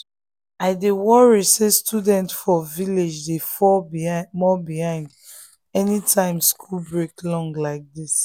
i dey worry say students for village dey fall more behind anytime school break long like this.